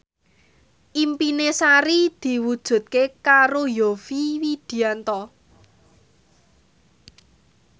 impine Sari diwujudke karo Yovie Widianto